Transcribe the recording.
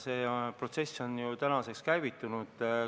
See protsess on ju käivitunud.